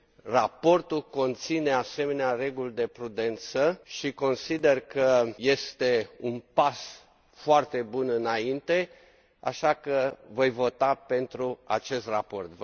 Raportul conține asemenea reguli de prudență și consider că este un pas foarte bun înainte, așa că voi vota pentru acest raport.